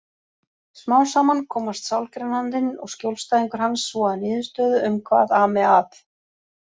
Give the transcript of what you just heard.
Smám saman komast sálgreinandinn og skjólstæðingur hans svo að niðurstöðu um hvað ami að.